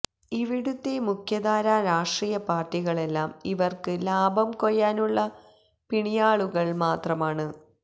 ഇവിടുത്തെ മുഖ്യധാര രാഷ്ട്രീയ പാര്ടികളെല്ലാം ഇവര്ക്ക് ലാഭം കൊയ്യാനുള്ള പിണിയാളുകള് മാത്രമാണ്